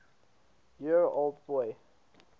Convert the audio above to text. year old boy